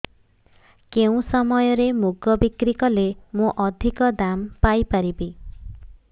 କେଉଁ ସମୟରେ ମୁଗ ବିକ୍ରି କଲେ ମୁଁ ଅଧିକ ଦାମ୍ ପାଇ ପାରିବି